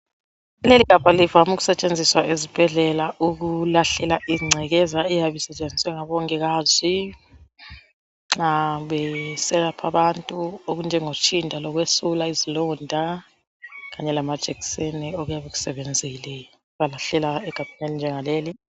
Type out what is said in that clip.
Leli gabha livame ukusetshenziswa esibhedlela ukulahlela engcekeza eyabe isetshenziswe ngabongikazi nxa beselapha abantu okunjengo tshinda lokwesula izilonda kanye lamajekiseni okuyabe kusebenzile balahlela egabheni elinjengaleli.